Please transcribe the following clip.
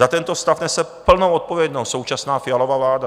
Za tento stav nese plnou odpovědnost současná Fialova vláda.